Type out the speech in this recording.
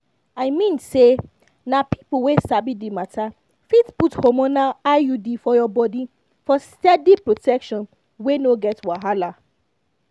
i mean say na people wey sabi the matter fit put hormonal iud for your body for steady protection wey no get wahala.